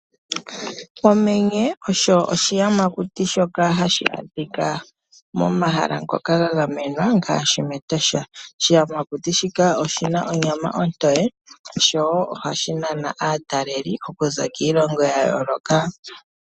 Okamenye osho oshiyamakuti shoka hashi adhika momahala moka gagamenwa ngashi mEtosha . oshiyamakuti shika oshina onyama ontoye showo ohashi nana aataleli okuza kiilongo yayoloka.